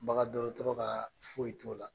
Bagan dɔgɔtɔrɔ ka foyi t'o la.